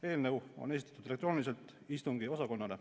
Eelnõu on esitatud istungiosakonnale elektrooniliselt.